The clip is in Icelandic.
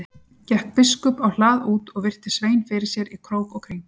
Gekk biskup á hlað út og virti Svein fyrir sér í krók og kring.